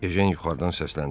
Ejen yuxarıdan səsləndi.